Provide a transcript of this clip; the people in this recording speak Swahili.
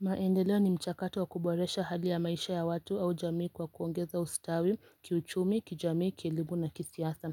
Maendeleo ni mchakato wa kuboresha hali ya maisha ya watu au jamii kwa kuongeza ustawi, kiuchumi, kijamii kilimu na kisiasa.